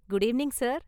Good evening, sir!